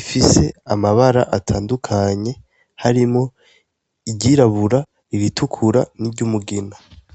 ifise amabara atandukanye harimo iryirabura, ibitukura, ni ry'umugina.